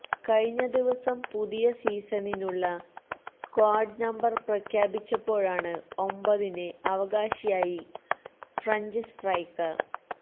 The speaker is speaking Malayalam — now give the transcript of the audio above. കഴിഞ്ഞ ദിവസം പുതിയ സീസണിനുള്ള സ്ക്വാഡ് നമ്പർ പ്രഖ്യാപിച്ചപ്പോഴാണ് ഒമ്പതിന് അവകാശിയായി ഫ്രഞ്ച് സ്ട്രൈക്കർ